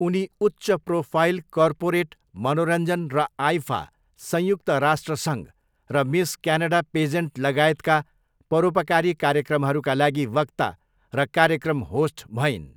उनी उच्च profile corporate, मनोरञ्जन र आइफा, संयुक्त राष्ट्र सङ्घ र मिस क्यानडा पेजेन्ट लगायतका परोपकारी कार्यक्रमहरूका लागि वक्ता र कार्यक्रम होस्ट भइन्।